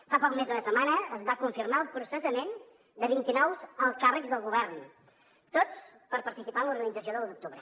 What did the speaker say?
fa poc més d’una setmana es va confirmar el processament de vint i nou alts càrrecs del govern tots per participar en l’organització de l’u d’octubre